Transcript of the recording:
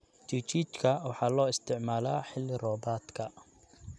Chichicha waxaa loo isticmaalaa xilli-roobaadka.